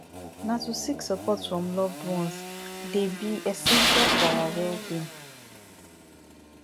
na to seek support from loved ones dey be essential for our wellbeing